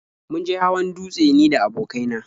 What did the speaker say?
Mun je hawan dutse ni da abokai na.